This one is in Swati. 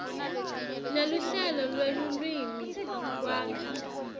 neluhlelo lwelulwimi kwakha